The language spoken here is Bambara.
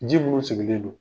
Ji munu sigilen don.